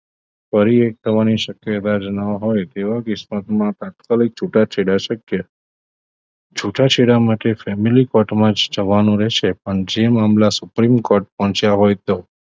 ફરી એક થવાની શક્યતા જ ન હોય તેવા કેસમાં તાત્કાલિક છૂટાછેડા શક્ય છૂટાછેડા માટે family court માં જવાનું રહેશે પણ જે મામલા supreme court પહોંચ્યા હોય તો